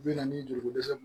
Bi na ni juruko dɛsɛ